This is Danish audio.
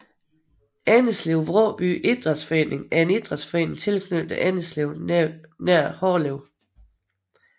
Endeslev Vråby Idræts Forening er en idrætsforening tilknyttet Endeslev nær Hårlev